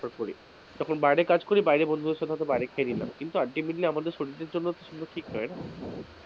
preferred করি, তখন বাইরে কাজ করি বাইরে বন্ধুদের সাথে হয়তো বাইরে খেয়ে নিলাম কিন্তু ultimately আমাদের শরীরের জন্য সেগুলো ঠিক নয় না,